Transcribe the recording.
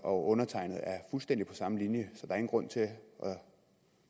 og undertegnede er fuldstændig på samme linje så der er ingen grund til at